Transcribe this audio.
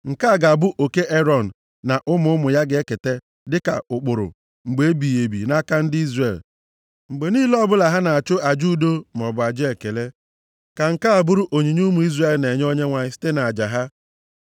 Nke a ga-abụ oke Erọn na ụmụ ụmụ ya ga-eketa dịka ụkpụrụ mgbe ebighị ebi nʼaka ndị Izrel. Mgbe niile ọbụla ha na-achụ aja udo maọbụ aja ekele, ka nke a bụrụ onyinye ụmụ Izrel na-enye Onyenwe anyị site nʼaja ha.